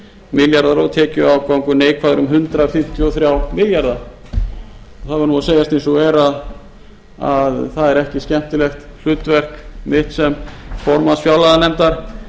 milljarðar og tekjuafgangur neikvæður um hundrað fimmtíu og þrjá milljarða það verður að segjast eins og er að það er ekki skemmtilegt hlutverk mitt sem formanns fjárlaganefndar